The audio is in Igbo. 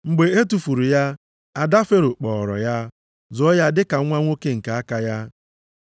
Mgbe e tufuru ya, ada Fero kpọọrọ ya, zụọ ya dị ka nwa nwoke nke aka ya.